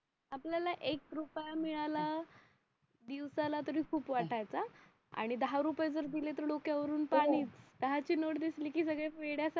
आपल्याला एक रुपया मिळाला दिवसाला तराई खूप वाटायचं हा आणि दहा दिले तर डोक्यावरून पाणीच दहा ची नोट दिसली की सगळे वेड्या सारखे